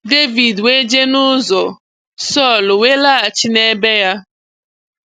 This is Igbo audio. Devid we je n'uzọ, Sọl we laghachi n'ebe-ya.